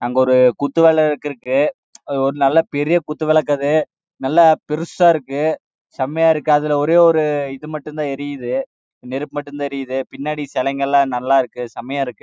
அங்க ஒரு குத்து விளக்கு இருக்கு நல்ல பெருசா இருக்கு செமையா இருக்கு அங்க ஒரு இது மட்டும் தான் எரித்து நெருப்பு மட்டும் தான் பின்னாடி சிலைங்களம் செமையா நல்ல இருக்கு